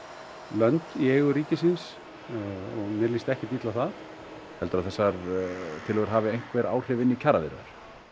lönd í eigu ríkisins og mér líst ekkert illa á það heldurðu að þessar tillögur hafi einhver áhrif inn í kjaraviðræður